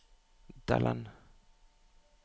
Dalland